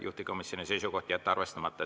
Juhtivkomisjoni seisukoht on jätta arvestamata.